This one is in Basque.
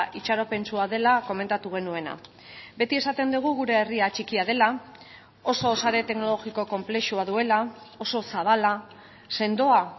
itxaropentsua dela komentatu genuena beti esaten dugu gure herria txikia dela oso sare teknologiko konplexua duela oso zabala sendoa